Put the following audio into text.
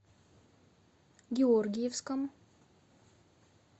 георгиевском